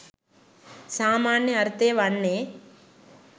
සාමාන්‍ය අර්ථය වන්නේ